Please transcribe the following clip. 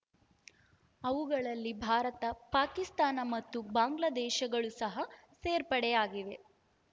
ಅವುಗಳಲ್ಲಿ ಭಾರತ ಪಾಕಿಸ್ತಾನ ಮತ್ತು ಬಾಂಗ್ಲಾ ದೇಶಗಳೂ ಸಹ ಸೇರ್ಪಡೆಯಾಗಿವೆ